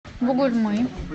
бугульмы